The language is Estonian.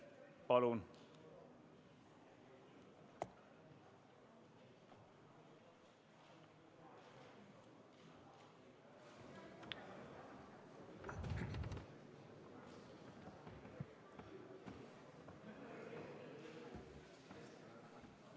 Palun!